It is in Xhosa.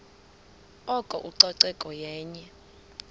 oko ucoceko yenye